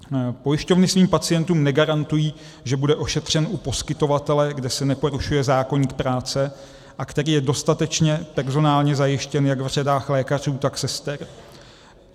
Pojišťovny svým pacientům negarantují, že bude ošetřen u poskytovatele, kde se neporušuje zákoník práce a který je dostatečně personálně zajištěn jak v řadách lékařů, tak sester.